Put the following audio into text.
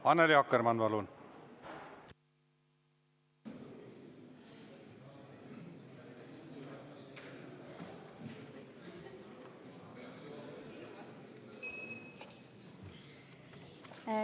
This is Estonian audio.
Annely Akkermann, palun!